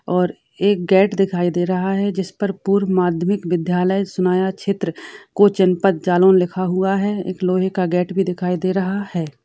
और एक गेट दिखाई दे रहा है जिस पर पूर्व माध्यमिक विद्यालय सुनाया क्षेत्र कोंच जनपद जलोन लिखा हुआ है। एक लोहे का गेट भी देखाई दे रहा है।